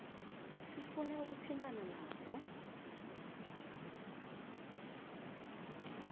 sifune ukuthintana nazo